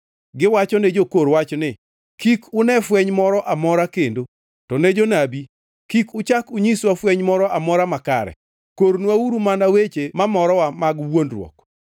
Giwachone jokor wach ni, “Kik une fweny moro amora kendo!” To ne jonabi, “Kik uchak unyiswa fweny moro amora makare!” Kornwauru mana weche mamorowa mag wuondruok.